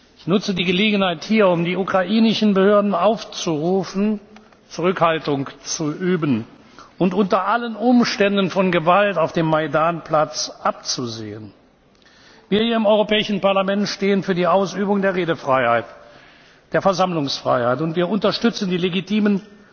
in Kiew berichten. Ich nutze die Gelegenheit, um die ukrainischen Behörden aufzurufen, Zurückhaltung zu üben und unter allen Umständen von Gewalt auf dem Majdan Platz abzusehen. Wir hier im Europäischen Parlament stehen für die Ausübung der Redefreiheit und der Versammlungsfreiheit, und wir unterstützen